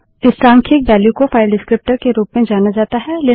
इस सांख्यिक वेल्यू को फाइल डिस्क्रीप्टर विवरणक के रूप में जाना जाता है